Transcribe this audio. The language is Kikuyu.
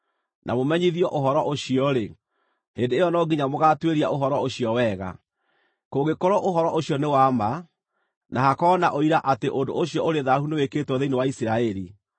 na mũmenyithio ũhoro ũcio-rĩ, hĩndĩ ĩyo no nginya mũgaatuĩria ũhoro ũcio wega. Kũngĩkorwo ũhoro ũcio nĩ wa ma, na hakorwo na ũira atĩ ũndũ ũcio ũrĩ thaahu nĩwĩkĩtwo thĩinĩ wa Isiraeli,